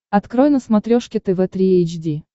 открой на смотрешке тв три эйч ди